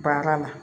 Baara la